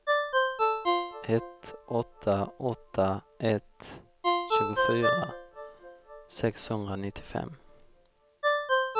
ett åtta åtta ett tjugofyra sexhundranittiofem